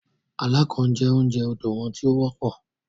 “Alákàn ” jẹ́ oúnjẹ odò wọn tí ó wọ́pọ̀.